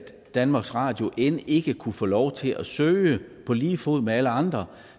danmarks radio end ikke kunne få lov til at søge på lige fod med alle andre